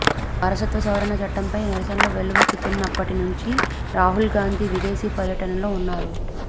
పౌరసత్వ సవరణ చట్టంపై నిరసనలు వెల్లువెత్తినప్పటి నుంచి రాహుల్గాంధీ విదేశీ పర్యటనల్లో ఉన్నారు